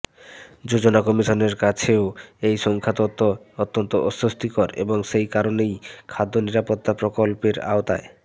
যোজনা কমিশনের কাছেও এই সংখ্যাতত্ত্ব অত্যন্ত অস্বস্তিকর এবং সেই কারণেই খাদ্য নিরাপত্তা প্রকল্পের আওতায়